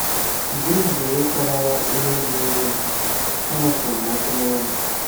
Mgbe m bidoro ịkọrọ ya ihe na-ewe m, ọ napụrụ m okwu n’ọnụ.